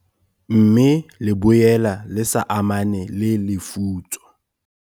Mme le boela le sa amane le lefutso.